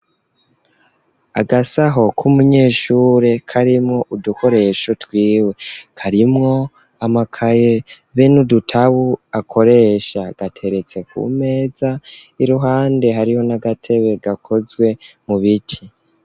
Agasaho k'umunyeshure karimwo udukoresho twiwe karimwo amakaye be n'udutabu akoresha gateretse ku meza iruhande hariho n'agatebe gakozwe mu biti.